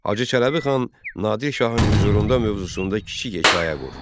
Hacı Çələbi xan Nadir Şahın hüzurunda mövzusunda kiçik hekayə qur.